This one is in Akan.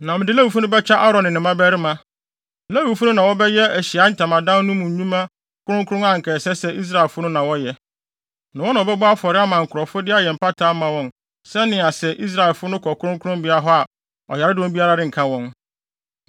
Na mede Lewifo no bɛkyɛ Aaron ne ne mmabarima. Lewifo no na wɔbɛyɛ Ahyiae Ntamadan no mu nnwuma kronkron a anka ɛsɛ sɛ Israelfo no na wɔyɛ, na wɔn na wɔbɛbɔ afɔre ama nkurɔfo de ayɛ mpata ama wɔn sɛnea sɛ Israelfo no kɔ kronkronbea hɔ a ɔyaredɔm biara renka wɔn.”